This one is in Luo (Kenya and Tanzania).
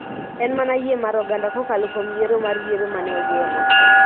En mana yie mar oganda kokalo kuom yiero mar yiero ma ne ogeno